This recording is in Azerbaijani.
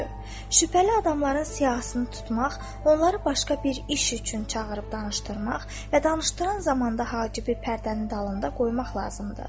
Şübhəli adamların siyahısını tutmaq, onları başqa bir iş üçün çağırıb danışdırmaq və danışdıran zamanda Hacibi pərdənin dalında qoymaq lazımdır.